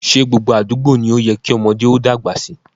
Ṣé gbogbo àdúgbò ni ó yẹ kí ọmọdé ó dàgbà sí?